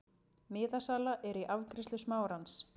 Miðasala er í afgreiðslu Smárans.